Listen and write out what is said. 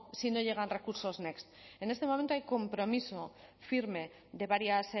si no llegan recursos next en este momento hay compromiso firme de varias